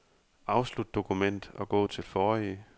Afslut dokument og gå til forrige.